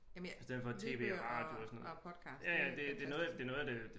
Jamen jeg lydbøger og podcast det er fantastisk